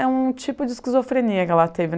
É um tipo de esquizofrenia que ela teve.